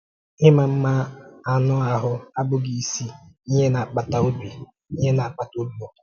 Ị́mà mma anụ́ ahụ abụghị ísì ihe na-akpàtà obi ihe na-akpàtà obi ụ̀tọ́.